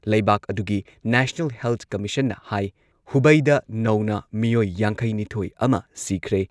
ꯂꯩꯕꯥꯛ ꯑꯗꯨꯒꯤ national health ꯀꯃꯤꯁꯟꯅ ꯍꯥꯏ ꯍꯨꯕꯩꯗ ꯅꯧꯅ ꯃꯤꯑꯣꯏ ꯌꯥꯡꯈꯩ ꯅꯤꯊꯣꯏ ꯑꯃ ꯁꯤꯈ꯭ꯔꯦ꯫